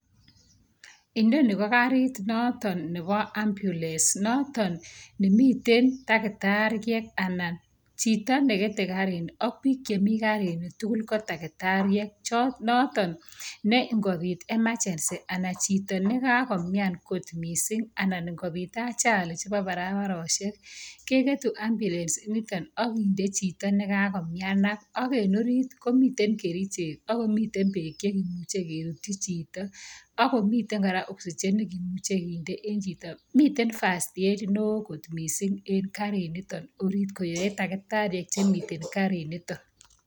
Inonii ko kariit noton neboo ambulance noton nemiten takitariek anan chito nekete Karini ak biik chemii karini tukul kotakitariek noton neng'obiit emergency anan chito nekakomian kot mising anan ing'obiit ajali neboo barabaroshek, kekeetu ambulance initon okinde chito nekakomianak ak en oriit komiten kerichek akomiten beek chekerutyin chito akomiten kora oxygen chekindoi chito, miten first aid newoon kot mising en kariniton orit koyoe takitariek chemiten kariniton.